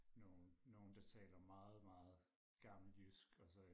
nogle nogle der taler meget meget gammelt jysk og så